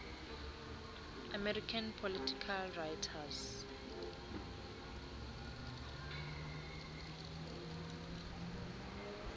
american political writers